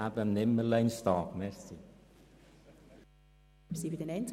Aber wenn nicht jetzt, wann dann?